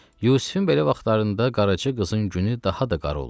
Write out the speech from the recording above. Yusifin belə vaxtlarında qaraçı qızın günü daha da qara olurdu.